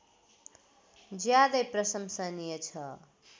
ज्यादै प्रशंसनीय छ